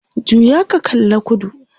juya ka kalla kudu!